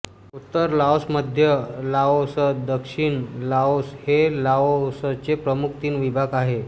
उत्तर लाओसमध्य लाओसदक्षिण लाओस हे लाओसचे प्रमुख तीन विभाग आहेत